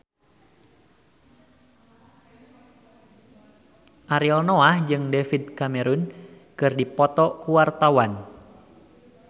Ariel Noah jeung David Cameron keur dipoto ku wartawan